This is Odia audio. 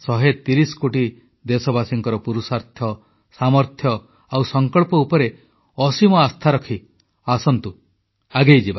130 କୋଟି ଦେଶବାସୀଙ୍କର ପୁରୁଷାର୍ଥ ସାମର୍ଥ୍ୟ ଆଉ ସଂକଳ୍ପ ଉପରେ ଅସୀମ ଆସ୍ଥା ରଖି ଆସନ୍ତୁ ଆଗେଇଯିବା